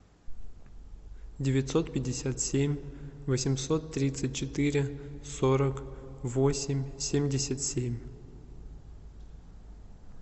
девятьсот пятьдесят семь восемьсот тридцать четыре сорок восемь семьдесят семь